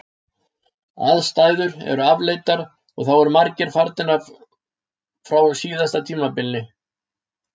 Aðstæður eru afleitar og þá eru margir farnir frá síðasta tímabili.